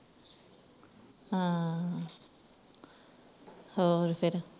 ਹੂ ਹੋਰ ਫੇਰ